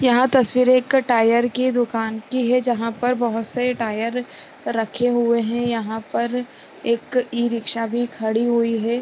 यह तस्वीर एक टायर की दूकान की है जहाँ पर बहोत से टायर रखे हुए है यहाँ पर एक ई-रिक्शा भी खड़ी हुई है ।